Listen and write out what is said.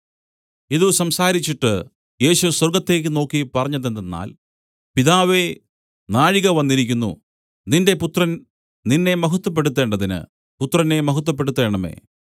ഇതു സംസാരിച്ചിട്ട് യേശു സ്വർഗ്ഗത്തേക്ക് നോക്കി പറഞ്ഞതെന്തെന്നാൽ പിതാവേ നാഴിക വന്നിരിക്കുന്നു നിന്റെ പുത്രൻ നിന്നെ മഹത്വപ്പെടുത്തേണ്ടതിന് പുത്രനെ മഹത്വപ്പെടുത്തേണമേ